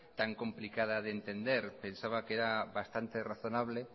tan complicada de entender pensaba que era bastante razonable